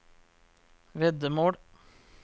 veddemål